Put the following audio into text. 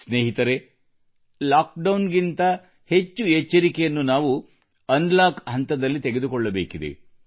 ಸ್ನೇಹಿತರೇ ಲಾಕ್ಡೌನ್ಗಿಂತ ಹೆಚ್ಚು ಎಚ್ಚರಿಕೆಯನ್ನು ನಾವು ಅನ್ಲಾಕ್ ಹಂತದಲ್ಲಿ ತೆಗೆದುಕೊಳ್ಳಬೇಕಿದೆ